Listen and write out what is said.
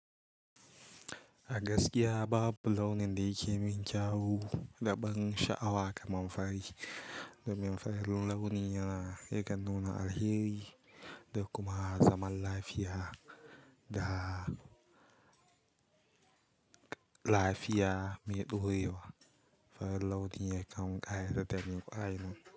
A gaskiya ba launin da yake min kyau da ban sha'awa kamar fari. Domin fari launin yana yakan nuna alheri da kuma zaman lafiya da lafiya mai ɗorewa. Fari launin ya kan ƙayatar da ni kwarai.